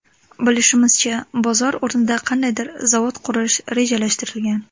Bilishimizcha bozor o‘rnida qandaydir zavod qurish rejalashtirilgan.